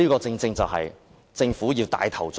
這全是要政府帶頭做的。